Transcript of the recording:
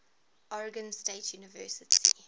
oregon state university